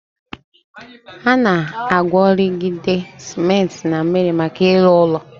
Ana agworigide cementi na miri maka ilu ulo